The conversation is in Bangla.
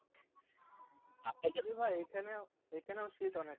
ভাই এখানেও এখানেও শীত অনেক